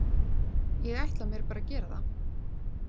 Ég ætla mér bara að gera það.